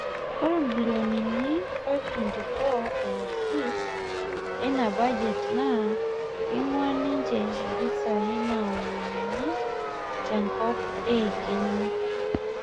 ore bilionini 524.6 eina bajet naa keing'uaa ninje mpisai naomonuni tenkop eiking'a